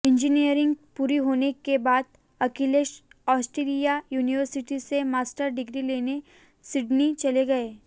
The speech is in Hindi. इंजीनियरिंग पूरी होने के बाद अखिलेश ऑस्ट्रेलियाई यूनिवर्सिटी से मास्टर्स डिग्री लेने सिडनी चले गए